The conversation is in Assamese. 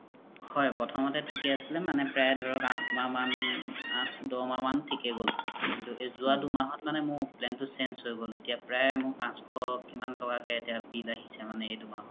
হয় প্ৰথম্তে থিকে আছিলে প্ৰাই মানে প্ৰাই আথ মাহ মান দশ মাহ মান থিকে গ'ল কিন্তু জুৱা দুমাহত মানে মোৰ plan তু change হয় গ'ল এতিয়া প্ৰাই পাশ্স কিমান তকা কে bill আহিছে মানে এইতু মাহত